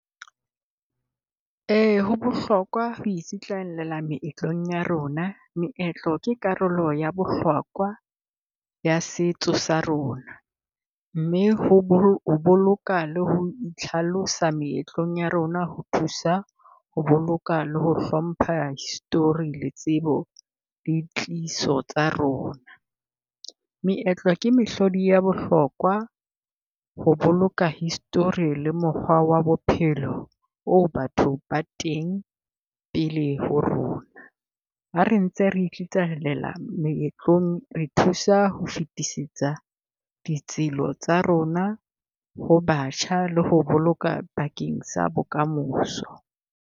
Ho bohlokwa ho itsitlallela meetlong ya rona. Meetlo ke karolo ya bohlokwa ya setso sa rona, mme ho ho boloka le ho itlhalosa meetlong ya rona, ho thusa ho boloka le ho hlompha history la tsebo le tliso tsa rona. Meetlo ke mehlodi ya bohlokwa ho boloka history le mokgwa wa bophelo o batho ba teng pele ho rona. Ha re ntse re itsitlallela meetlong re thusa ho fetisisa ditselo tsa rona ho batjha le ho boloka bakeng sa bokamoso.